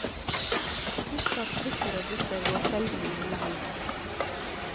Husk at trikker og busser går sjelden i julehelgen.